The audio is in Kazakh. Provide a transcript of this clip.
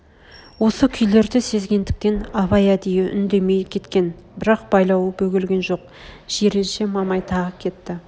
осы күйлерді сезгендіктен абай әдей үндемей кеткен бірақ байлауы бөгелген жоқ жиренше мамай тағы кетті